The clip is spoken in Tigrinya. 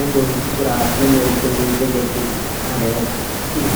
ነቶም ፉጡራት መንበሪ ኮይኑ ዘገልግል ማለት እዩ።